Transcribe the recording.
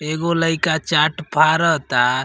एगो लइका चाट फारता --